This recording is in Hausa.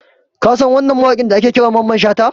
Ka san wannan mawaƙin da ake kira Mamman Shata?